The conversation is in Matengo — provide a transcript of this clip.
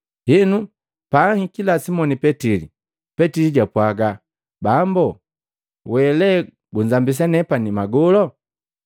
Henu, paanhikila Simoni Petili, Petili jwapwaga, “Bambu we lee gunzambisa nepani magolo?”